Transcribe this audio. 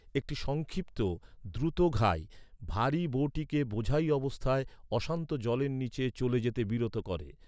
একটি সংক্ষিপ্ত, দ্রুত ঘাই, ভারী বোটিকে বোঝাই অবস্থায়, অশান্ত জলের নিচে চলে যেতে বিরত করে।